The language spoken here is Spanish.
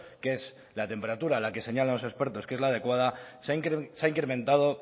que es la temperatura la que señalan los expertos que es la adecuada se ha incrementado